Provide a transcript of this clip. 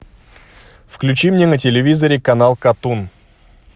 включи мне на телевизоре канал катун